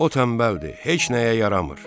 O tənbəldir, heç nəyə yaramır.